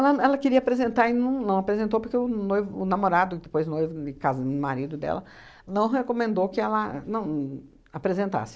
ela ela queria apresentar e não não apresentou porque o noivo o namorado depois noivo e cas o marido dela, não recomendou que ela não apresentasse.